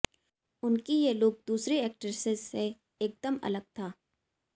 उनकी ये लुक दूसरी एक्ट्रेसेज से एकदम अलग था